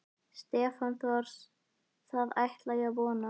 Stefán Thors: Það ætla ég að vona?